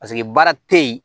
Paseke baara te yen